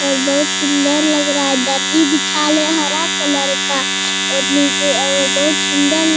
और बहुत सुंदर लग रहा है दरी बिछाले हरा कलर का और नीचे और बहुत सुंदर --